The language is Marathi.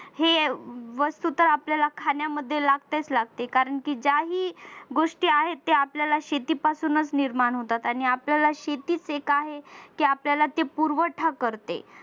हे वस्तू तर आपल्याला खाण्यामध्ये लागतेच लागते कारण की जाही गोष्टी आहेत त्या आपल्याला शेती पासूनच निर्माण होतात आणि आपल्याला शेतीच एक आहे की आपल्याला पुरवठा करते